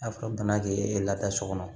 A fɔ bana ke e lada so kɔnɔ